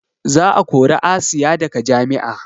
Za a kori asiya daga jami'a